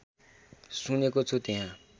सुनेको छु त्यहाँ